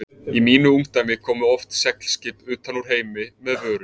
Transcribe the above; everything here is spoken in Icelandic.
Í mínu ungdæmi komu oft seglskip utan úr heimi með vörur.